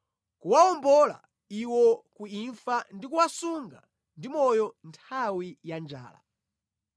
kuwawombola iwo ku imfa ndi kuwasunga ndi moyo nthawi ya njala.